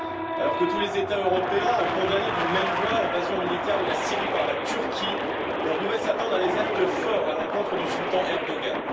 Alors que tous les États européens ont condamné d'une même voix l'invasion militaire de la Syrie par la Turquie, l'on pouvait s'attendre à des actes forts à l'encontre du sultan Erdogan.